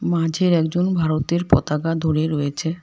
মাঝের একজন ভারতের পতাকা ধরে রয়েছে।